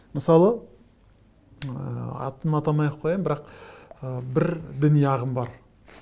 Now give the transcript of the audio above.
мысалы ыыы атын атамай ақ қояйын бірақ ы бір діни ағым бар